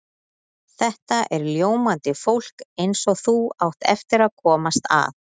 Þetta er ljómandi fólk eins og þú átt eftir að komast að.